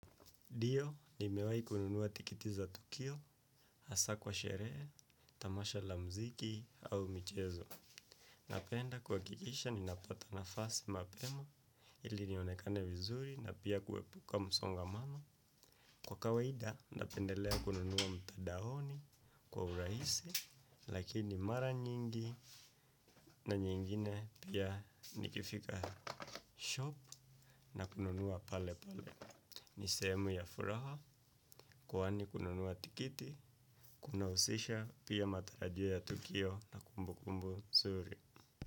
Ndio, nimewai kununuwa tikiti za tukio, hasa kwa sherehe, tamasha la mziki au michezo. Napenda kuakikisha, ninapata nafasi mapema, ili nionekane vizuri na pia kuepuka msongamano. Kwa kawaida, napendelea kununuwa mtadaoni kwa uraisi, lakini mara nyingi na nyingine pia nikifika shop na kununuwa pale pale. Nisehemu ya furaha, kuwani kununuwa tikiti, kuna usisha pia matarajio ya tukio na kumbu kumbu nzuri.